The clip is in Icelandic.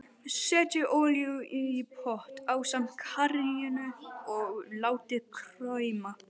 Setjið olíuna í pott ásamt karríinu og látið krauma.